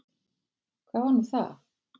Hvað var nú það?